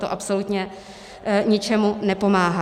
To absolutně ničemu nepomáhá.